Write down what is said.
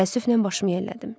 Təəssüflə başımı yellədim.